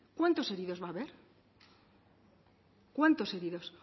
cuántos heridos va a haber cuántos heridos